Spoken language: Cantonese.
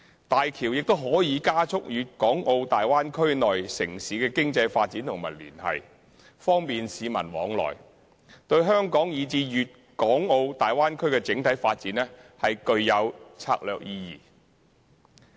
大橋亦可加速粵港澳大灣區內城市的經濟發展和連繫，方便市民往來，對香港以至粵港澳大灣區的整體發展具有策略意義。